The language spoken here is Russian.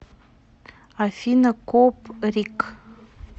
афина коприк